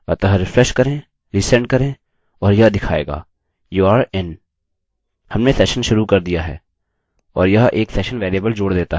हमने सेशन शुरू कर दिया है और यह एक सेशन वेरिएबल जोड़ देता है